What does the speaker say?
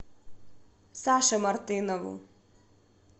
саше мартынову